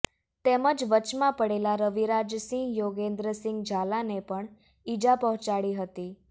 તેમજ વચમાં પડેલા રવિરાજસિંહ યોગેન્દ્રસિંહ ઝાલાને પણ ઇજા પહોંચાડી હતી